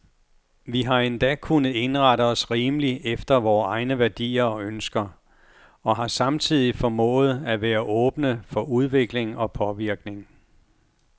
Vi har endda kunnet indrette os rimeligt efter vore egne værdier og ønsker, og har samtidig formået at være åbne for udvikling og påvirkning.